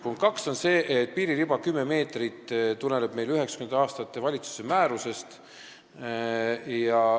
Punkt kaks on see, et 10-meetrine piiririba tuleneb 1990. aastatel antud valitsuse määrusest.